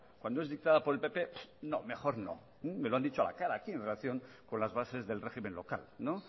cuando es dictada por el pp no mejor no me lo han dicho a la cara aquí en relación con las bases del régimen local